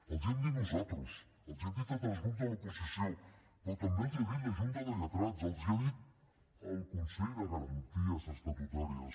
els ho hem dit nosaltres els ho han dit altres grups de l’oposició però també els ho ha dit la junta de lletrats els ho ha dit el consell de garanties estatutàries